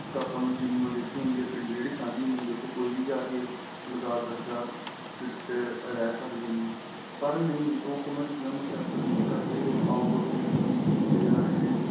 ਇੱਕ ਆਪਾ ਨੂੰ Jim ਦਿੱਤੀ ਹੁੰਦੀ ਏ ਪਿੰਡ ਦੀ ਜਿਹੜੀ ਸਾਝੀ ਜਮੀਨ ਹੁੰਦੀ ਏ ਉਥੇ ਕੋਈ ਵੀ ਜਾਕੇ ਲਗਾ ਸਕਦਾ fit ਰਹਿ ਸਕਦੇ ਨੇ ਪਰ ਨਹੀਂ ਲੋਕ ਉਹਨਾ ਚੀਜਾ ਨੂੰ prefer ਨਹੀਂ ਕਰਦੇ out door games ਨੂੰ ਭੁੱਲਦੇ ਜਾਂ ਰਹੇ ਨੇ